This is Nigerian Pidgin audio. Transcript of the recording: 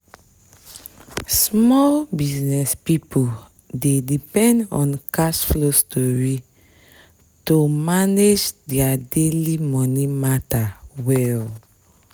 small business people dey depend on cash flow stori to manage their daily money matter well